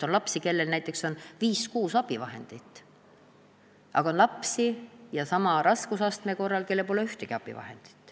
On lapsi, kellel on viis-kuus abivahendit, aga on lapsi, kellel on sama raskusastmega puue, aga kellel pole ühtegi abivahendit.